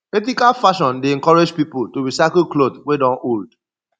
ethical fashion dey encourage pipo to recycle cloth wey don old